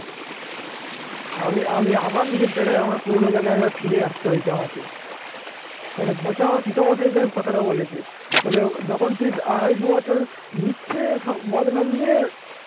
আমি আমি আবার নিজের জায়গায় আমার পুরনো জায়গায় ফিরে আসতে হয়েছে আমাকে মানে পচা পিতামাতার সঙ্গে কথাটা বলেছে. বলে যখন তুই আড়াই দু বছর মিথ্যে বদনাম নিয়ে